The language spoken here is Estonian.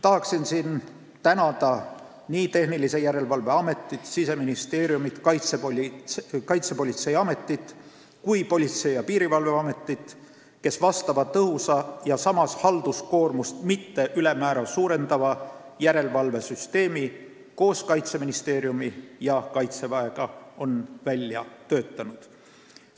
Tahan siin tänada nii Tehnilise Järelevalve Ametit, Siseministeeriumi, Kaitsepolitseiametit kui Politsei- ja Piirivalveametit, kes on selle tõhusa ja samas halduskoormust mitte ülemäära suurendava järelevalvesüsteemi koos Kaitseministeeriumi ja Kaitseväega välja töötanud.